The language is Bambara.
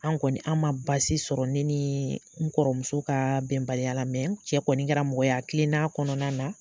An kɔni an man basi sɔrɔ ne ni n kɔrɔ muso ka bɛnbaliya la n cɛ kɔni kɛra mɔgɔya kilenna a kɔnɔna na.